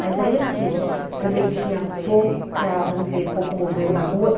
Mas aí, assim, também tinha pouca, vamos dizer, pouco movimento na rua.